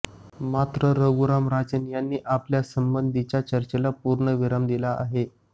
मात्र रघुराम राजन यांनी आपल्यासंबंधीच्या चर्चेला पूर्णविराम दिला आहे